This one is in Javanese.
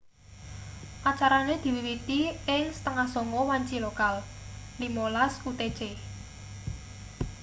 acarane diwiwiti ing 20.30 wanci lokal 15.00 utc